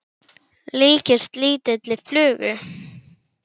líkist lítilli flugu.